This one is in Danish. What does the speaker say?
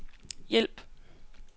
hjælp